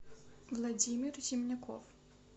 владимир зимняков